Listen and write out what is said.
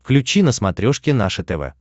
включи на смотрешке наше тв